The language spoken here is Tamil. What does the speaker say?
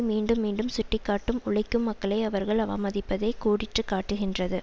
மீண்டும் மீண்டும் சுட்டிக்காட்டும் உழைக்கும் மக்களை அவர்கள் அவமதிப்பதே கோடிட்டு காட்டுகின்றது